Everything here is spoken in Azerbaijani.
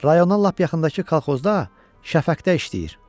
Rayona lap yaxındakı kolxozda şəfəqdə işləyir.